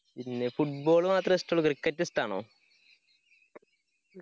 ഇല്ലേ football മാത്രേ ഇഷ്ടുള്ളു cricket ഇഷ്ടാണോ?